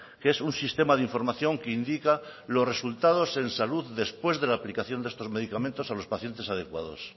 que es un sistema de información que indica los resultados en salud después de la aplicación de estos medicamentos a los pacientes adecuados